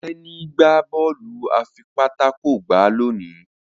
Teni gbà Bọ́ọ̀lù afipátákó gbá loni.